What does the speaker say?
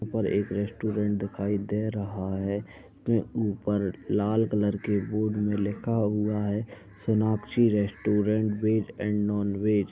यहाँ पर एक रेस्टोरेंट दिखाई दे रहा है के ऊपर लाल कलर के बोर्ड में लिखा हुआ है सोनाक्षी रेस्टोरेंट वेज और नॉन-वेज ।